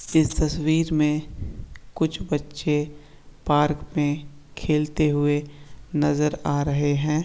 इस तस्वीर में कुछ बच्चे पार्क में खेलते हुए नजर आ रहे हैं।